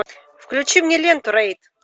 включи мне ленту рейд